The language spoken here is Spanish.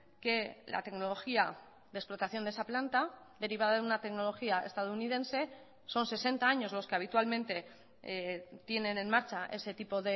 que la tecnología de explotación de esa planta derivada de una tecnología estadounidense son sesenta años los que habitualmente tienen en marcha ese tipo